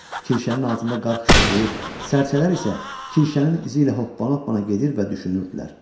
Kirşənin altında qar xışıdılır, sərcələr isə kirşənin izi ilə hoppan-hoppana gedir və düşünürdülər.